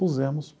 Pusemos.